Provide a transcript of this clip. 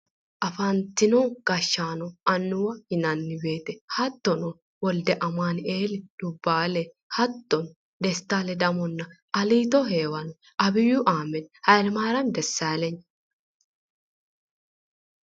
Afantino gashshaano annuwa yinanni woyte hattono wolde amaanu"eeli dubbaale hattono desta ledamonna aliito heewano abiyyu ahimmedi hayilemaarami dessaalenyi